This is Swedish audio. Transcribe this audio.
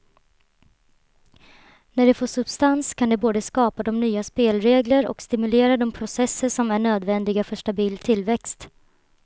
När det får substans kan det både skapa de nya spelregler och stimulera de processer som är nödvändiga för stabil tillväxt.